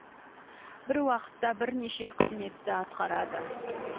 бір уақытта бірнеше қызметті атқарады